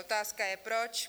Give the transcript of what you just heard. Otázka je proč.